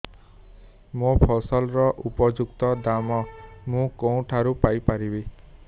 ମୋ ଫସଲର ଉପଯୁକ୍ତ ଦାମ୍ ମୁଁ କେଉଁଠାରୁ ପାଇ ପାରିବି